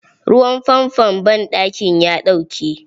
Ruwan fanfon banɗakin ya ɗauke.